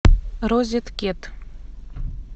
розеткед